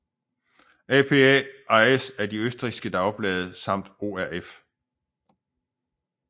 APA ejes af de østrigske dagblade samt ORF